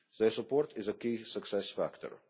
Their support is a key success